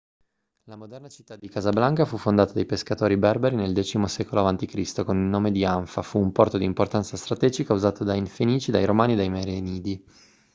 la moderna città di casablanca fu fondata dai pescatori berberi nel x secolo a.c. con il nome di anfa fu un porto di importanza strategica usato dai fenici dai romani e dai merenidi